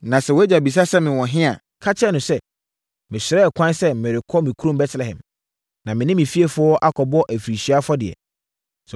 Na sɛ wʼagya bisa sɛ mewɔ he a, ka kyerɛ no sɛ, ‘mesrɛɛ ɛkwan sɛ merekɔ me kurom Betlehem, na me ne me fiefoɔ akɔbɔ afirinhyia afɔdeɛ.’